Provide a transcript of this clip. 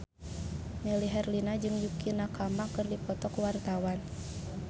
Melly Herlina jeung Yukie Nakama keur dipoto ku wartawan